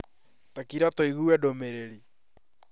Takira tũigue ndũmĩrĩri